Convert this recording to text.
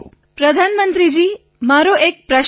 વિનોલે પ્રધાનમંત્રીજી મારો એક પ્રશ્ન છે